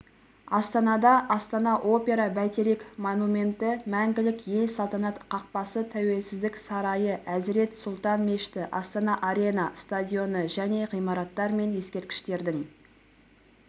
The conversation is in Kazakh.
астанада астана опера бәйтерек монументі мәңгілік ел салтанат қақпасы тәуелсіздік сарайы әзірет сұлтан мешіті астана арена стадионы және ғимараттар мен ескерткіштердің